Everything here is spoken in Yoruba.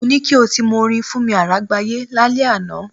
Mo ní kí o ti mọ orin Fúnni Àrágbayé lálẹ́ àná.